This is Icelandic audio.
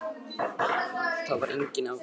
Þar var enginn afgreiðslu